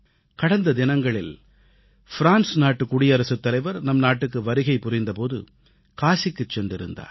கடந்த தினங்களில் ஃப்ரான்ஸ் நாட்டின் அதிபர் நம் நாட்டுக்கு வருகை புரிந்த போது காசிக்குச் சென்றிருந்தார்